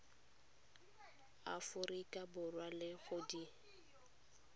aforika borwa le go di